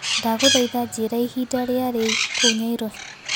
ndagũthaĩtha njĩĩra ĩhĩnda rĩa riu kũũ nyairobi